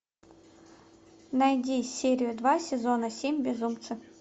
найди серию два сезона семь безумцы